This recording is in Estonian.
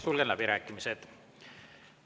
Sulgen läbirääkimised.